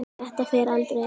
Þetta fer aldrei.